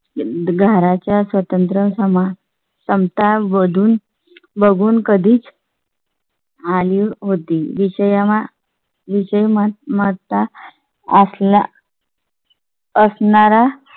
घराच्या स्वातंत्र्य समाज समता वळून बघून कधीच . आली होती विषया विजय ममता असल्या . असणारा